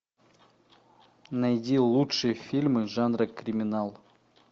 найди лучшие фильмы жанра криминал